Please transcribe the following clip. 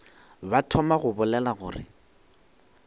ba thoma go bolela gore